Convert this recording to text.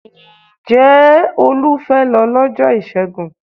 Ǹjẹ́ Olú fẹ́ lọ lọ́jọ́ Ìṣẹ́gun?